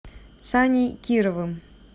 саней кировым